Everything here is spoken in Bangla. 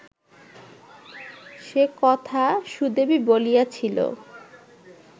সে কথা সুদেবী বলিয়াছিল